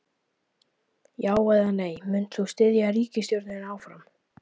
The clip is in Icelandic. Já, eða nei, munt þú styðja ríkisstjórnina áfram?